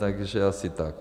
Takže asi tak.